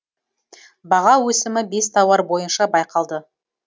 баға өсімі бес тауар бойынша байқалды